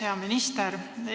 Hea minister!